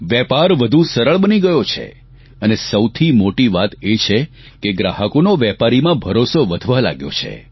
વેપાર વધુ સરળ બની ગયો છે અને સૌથી મોટી વાત એ છે કે ગ્રાહકોનો વેપારીમાં ભરોસો વધવા લાગ્યો છે